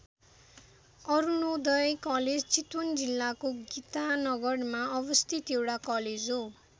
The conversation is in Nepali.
अरुणोदय कलेज चितवन जिल्लाको गीतानगरमा अवस्थित एउटा कलेज हो।